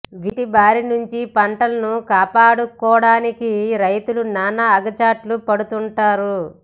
వీటి బారి నుంచి పంటలను కాపాడుకోడానికి రైతులు నానా అగచాట్లు పడుతుంటారు